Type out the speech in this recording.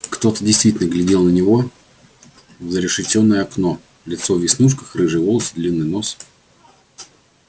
кто-то действительно глядел на него в зарешеченное окно лицо в веснушках рыжие волосы длинный нос